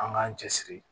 An k'an cɛ siri